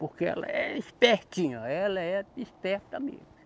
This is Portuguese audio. Porque ela é espertinha, ela é esperta mesmo.